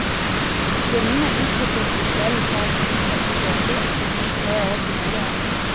Billene utviklet hun selv for å stoppe en dødelig epidemi tre år tidligere.